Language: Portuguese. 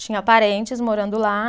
Tinha parentes morando lá.